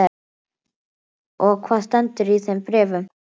Og hvað stendur í þeim bréfum?